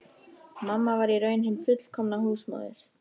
Mamma var í raun hin fullkomna húsmóðir.